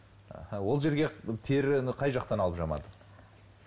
аха ол жерге теріні қай жақтан алып жамады